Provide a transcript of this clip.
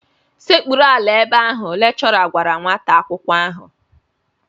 Sekpuru ala ebe ahụ! Lekchọra gwara nwata akwụkwọ ahụ